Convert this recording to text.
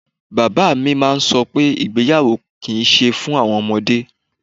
Bàbá mi máa ń sọ pé ìgbéyàwó kì í ṣe fún àwọn ọmọdé.